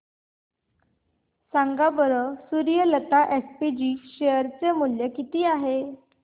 सांगा बरं Suryalata SPG share चे मूल्य किती आहे